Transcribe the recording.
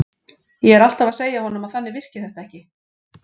Ég er alltaf að segja honum að þannig virki þetta ekki.